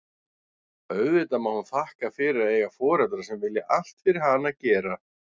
Auðvitað má hún þakka fyrir að eiga foreldra sem vilja allt fyrir hana gera.